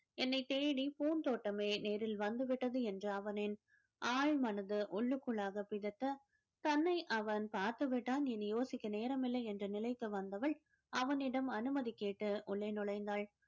என்னைத் தேடி பூந்தோட்டமே நேரில் வந்து விட்டது என்ற அவனின் ஆழ்மனதை உள்ளுக்குள்ளாக பிதட்ட தன்னை அவன் பார்த்துவிட்டான் இனி யோசிக்க நேரமில்லை என்ற நிலைக்கு வந்தவள் அவனிடம் அனுமதி கேட்டு உள்ளே நுழைந்தாள்